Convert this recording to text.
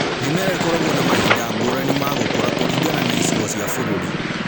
Mĩmera ĩkoragwo na mahinda ngũrani ma gũkũra kũringana na icigo cia bũrũri